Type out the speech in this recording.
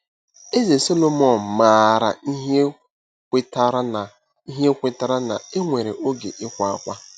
Eze Sọlọmọn maara ihe kwetara na ihe kwetara na e nwere “oge ịkwa ákwá.”